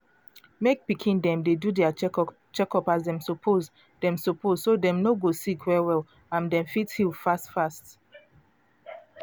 mek pikin dem dey do dia checkup as dem suppose dem suppose so dem no go sick well well and dem fit heal fast fast.